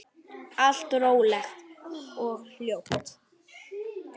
Allt rólegt og hljótt.